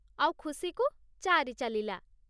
ଆଉ ଖୁସିକୁ ଚାରି ଚାଲିଲା।